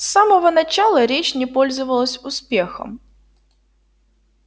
с самого начала речь не пользовалась успехом